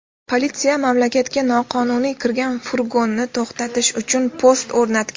Politsiya mamlakatga noqonuniy kirgan furgonni to‘xtatish uchun post o‘rnatgan.